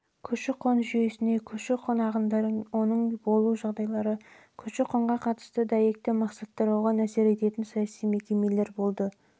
көші-қон жүйесіне көші-қон ағындары оның болу жағдайлары көші-қонға қатысты дәйекті мақсаттар оған әсер ететін саяси мекемелер